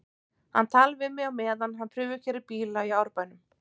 Hann talar við mig á meðan hann prufukeyrir bíla í Árbænum.